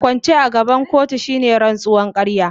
Kwance a gaban kotu shine rantsuwar ƙarya.